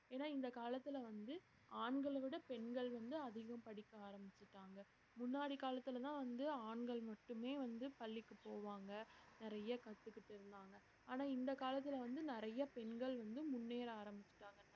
ஏன்னா இந்த காலத்துல வந்து ஆண்களை விட பெண்கள் வந்து அதிகம் படிக்க ஆரம்பிச்சுட்டாங்க முன்னாடி காலத்துலதான் வந்து ஆண்கள் மட்டுமே வந்து பள்ளிக்கு போவாங்க நிறைய கத்துக்கிட்டு இருந்தாங்க ஆனா இந்த காலத்துல வந்து நிறைய பெண்கள் வந்து முன்னேற ஆரம்பிச்சுட்டாங்க